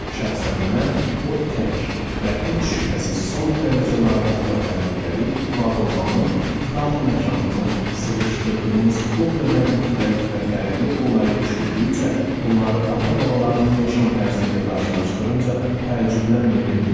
Şəxsən mən o tək və heç şübhəsiz son dərəcə narahat və təhlükəli var olmanın dar məkanını sıxışdırdığımız o qədər müxtəlif və fərqli olayı düşündükcə, bunları ata-babalarımın yaşam tərzi ilə qarşılaşdırınca təəccüblənməyə bilmirəm.